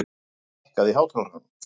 Fanný, lækkaðu í hátalaranum.